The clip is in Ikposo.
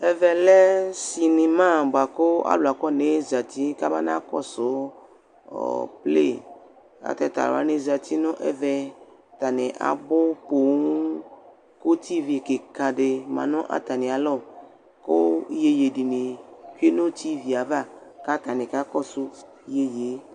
Ɛvɛ sinima bʋa kʋ alʋ akɔnee zati k'abana kɔsʋ ɔ ple ; ata t'alʋ wanɩ zati nʋ ɛvɛ atanɩ abʋ poo Utsivlɩ kɩkadɩ ma nʋ atamɩalɔ, kʋ iyeye dɩnɩ bɩ dʋ utsivlɩɛ ava k'atanɩ ka kɔsʋ oyeyee